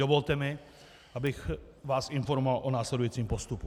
Dovolte mi, abych vás informoval o následujícím postupu.